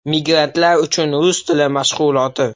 Migrantlar uchun rus tili mashg‘uloti.